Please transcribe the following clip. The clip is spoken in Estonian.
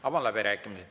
Avan läbirääkimised.